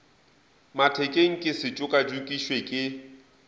mathekeng ke se tšokatšokišwe ke